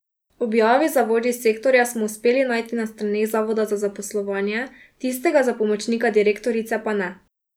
Objavi za vodji sektorja smo uspeli najti na straneh Zavoda za zaposlovanje, tistega za pomočnika direktorice pa ne.